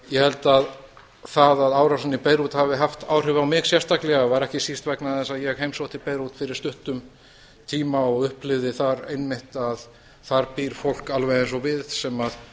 ég held að það að árásin í beirút hafi haft áhrif á mig sérstaklega var ekki síst vegna þess að ég heimsótti beirút fyrir stuttum tíma og upplifði þar einmitt að þar býr fólk alveg eins og við sem